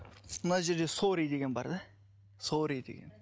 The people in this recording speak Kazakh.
мына жерде сорри деген бар да сорри деген